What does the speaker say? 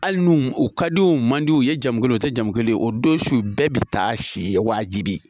Hali n'o, u ka di wo u man di wo ,u ye jamu kelen wo, u tɛ jamu kelen wo, o don su bɛɛ be taa si yen wajibi.